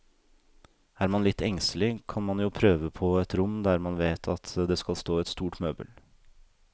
Er man litt engstelig, kan man jo prøve på et rom der man vet det skal stå et stort møbel.